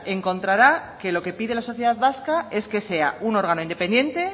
encontrará que lo que pide la sociedad vasca es que sea un órgano independiente